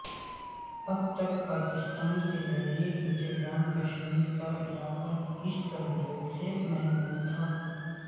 اب تک پاکستان کے زیرانتظام کشمیر کا علاقہ اس سہولت سے محروم تھا